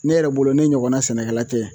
Ne yɛrɛ bolo ne ɲɔgɔnna sɛnɛkɛla tɛ